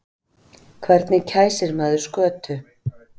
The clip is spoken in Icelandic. Hvernig kæsir maður skötu?